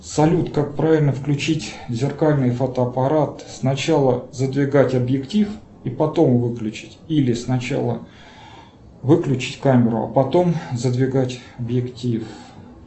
салют как правильно включить зеркальный фотоаппарат сначала задвигать объектив и потом выключить или сначала выключить камеру а потом задвигать объектив